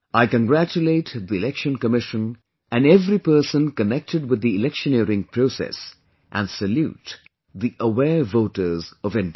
I congratulate the Election Commission and every person connected with the electioneering process and salute the aware voters of India